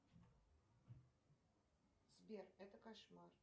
сбер это кошмар